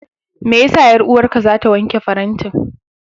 Me ya sa 'yar'uwarka za ta wanke farantin?